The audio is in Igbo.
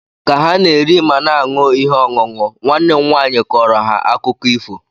ka ha na-eri ma na-aṅụ ihe ọṅụṅụ, nwanne m nwaanyị kọrọ ha akụkọ ịfo